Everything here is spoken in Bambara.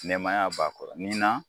Nɛmaya b'a kɔrɔ nin na